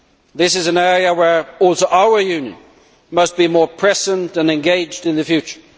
This is an area where our Union must also be more present and engaged in the future.